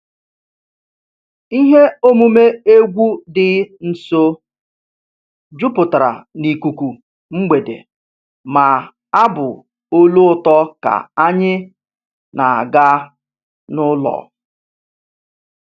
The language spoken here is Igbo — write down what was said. Ihe omume egwu dị nso jupụtara n'ikuku mgbede ma abụ olu ụtọ ka anyị na-aga n'ụlọ